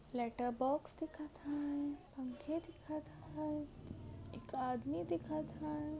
Letter box दिखत हाय. पंखे दिखत हाय एक आदमी दिखत हाय.